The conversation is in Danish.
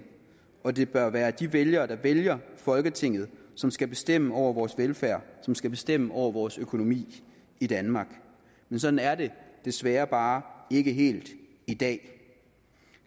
og at det bør være de vælgere der vælger folketinget som skal bestemme over vores velfærd og som skal bestemme over vores økonomi i danmark men sådan er det desværre bare ikke helt i dag